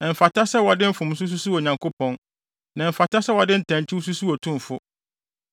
Ɛmfata sɛ wɔde mfomso susuw Onyankopɔn, na ɛmfata sɛ wɔde ntɛnkyew susuw Otumfo.